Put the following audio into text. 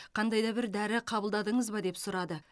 қандай да бір дәрі қабылдадыңыз ба деп сұрады